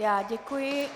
Já děkuji.